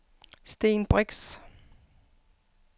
Sten Brix